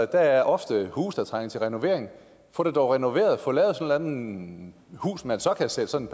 der er ofte huse der trænger til renovering få dem dog renoveret få lavet sådan eller andet hus man så kan sætte sådan